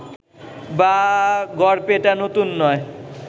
বা গড়াপেটা নতুন নয়